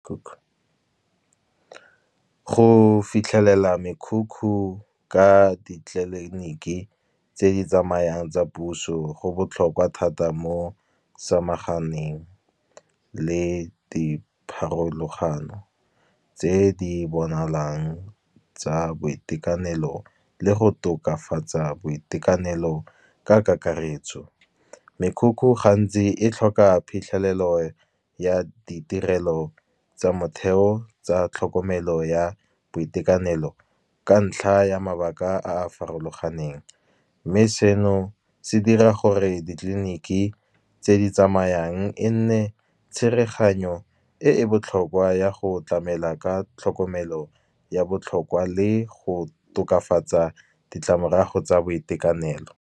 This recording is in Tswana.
Go fitlhelela mekhukhu ka ditleliniki tse di tsamayang tsa puso, go botlhokwa thata mo samagane teng le dipharologano, tse di bonalang tsa boitekanelo le go tokafatsa boitekanelo ka kakaretso. Mekhukhu gantsi e tlhoka phitlhelelo ya ditirelo tsa motheo, tsa tlhokomelo ya boitekanelo, ka ntlha ya mabaka a a farologaneng. Mme seno se dira gore ditleliniki tse di tsamayang e nne tshereganyo, e e botlhokwa ya go tlamela ka tlhokomelo ya botlhokwa, le go tokafatsa ditlamorago tsa boitekanelo.